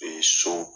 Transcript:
so